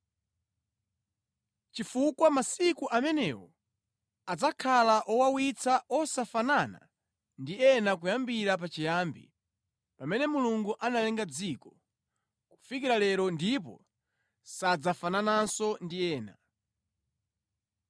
chifukwa masiku amenewo adzakhala owawitsa osafanana ndi ena kuyambira pachiyambi, pamene Mulungu analenga dziko, kufikira lero ndipo sadzafanananso ndi ena.